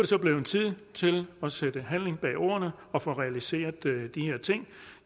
så blevet tid til at sætte handling bag ordene og få realiseret de her ting